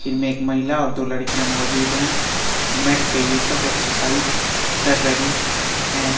एक महिला और दो लड़कियां मैट पर एक्सरसाइज कर रही हैं।